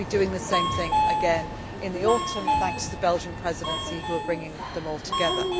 State. I will be doing the same thing again in the autumn, thanks to the Belgian Presidency, who are bringing them all together.